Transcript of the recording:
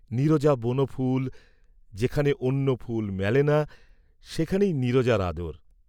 নীরজা বনফুল, যেখানে অন্য ফুল মেলে না, সেইখানে নীরজার আদর।